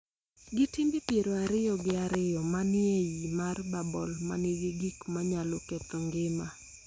gi timbe piero ariyo gi ariyo ma ni e iye mar bubble ma nigi gik ma nyalo ketho ngima.